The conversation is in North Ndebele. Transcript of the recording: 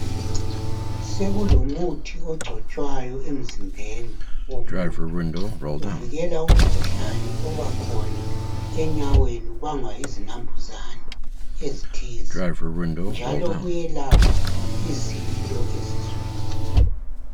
sekulomuthi ogcotshwayo emzimbeni womuntu uvikela umkhuhlane obakhona enyaweni ubangwa yizi nampuzane ezithize njalo uyelapha izilo esiswini